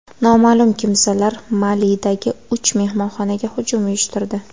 Noma’lum kimsalar Malidagi uch mehmonxonaga hujum uyushtirdi.